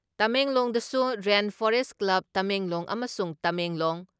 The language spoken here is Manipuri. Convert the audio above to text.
ꯇꯃꯦꯡꯂꯣꯡꯗꯁꯨ ꯔꯦꯟ ꯐꯣꯔꯦꯁ ꯀ꯭ꯂꯕ, ꯇꯃꯦꯡꯂꯣꯡ ꯑꯃꯁꯨꯡ ꯇꯃꯦꯡꯂꯣꯡ